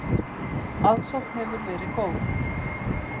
Aðsókn hefur verið góð.